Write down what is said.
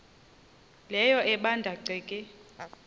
leyo ebanda ceke